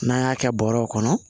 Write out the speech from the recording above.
N'an y'a kɛ bɔrɛw kɔnɔ